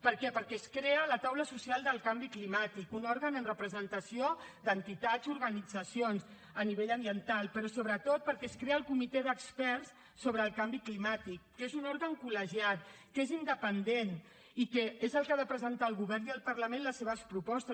per què perquè es crea la taula social del canvi climàtic un òrgan amb representació d’entitats i organitzacions a nivell ambiental però sobretot perquè es crea el comitè d’experts sobre el canvi climàtic que és un òrgan col·legiat que és independent i que és el que ha de presentar al govern i al parlament les seves propostes